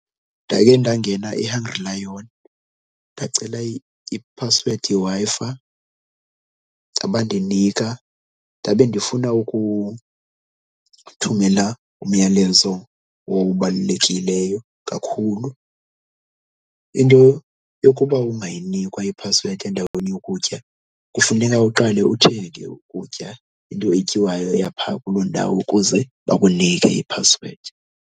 Ndakhe ndangena eHungry Lion ndacela iphasiwedi yeWi-Fi abandinika, ndabe ndifuna ukuthumela umyalezo owawubalulekileyo kakhulu. Into yokuba ungayinikwa iphasiwedi endaweni yokutya kufuneka uqale uthenge ukutya, into etyiwayo yapha kuloo ndawo ukuze bakunike iphasiwedi.